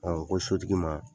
ko sotigi ma